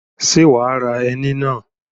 Ṣé wà á ra ẹni náà